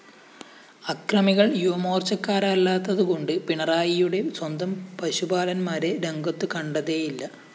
അക്രമികള്‍ യുവമോര്‍ച്ചക്കാരല്ലാത്തതുകൊണ്ട് പിണറായിയുടെ സ്വന്തം പശുപാലന്മാരെ രംഗത്തുകണ്ടതേയില്ല